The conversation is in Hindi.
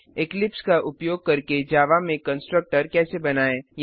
इक्लिप्स का उपयोग करके जावा में कंस्ट्रक्टर कैसे बनाएँ